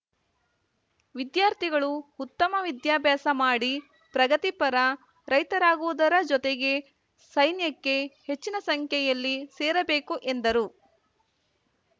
ವಿದ್ಯಾರ್ಥಿಗಳು ಉತ್ತಮ ವಿದ್ಯಾಭ್ಯಾಸ ಮಾಡಿ ಪ್ರಗತಿಪರ ರೈತರಾಗುವುದರ ಜೊತೆಗೆ ಸೈನ್ಯಕ್ಕೆ ಹೆಚ್ಚಿನ ಸಂಖ್ಯೆಯಲ್ಲಿ ಸೇರಬೇಕು ಎಂದರು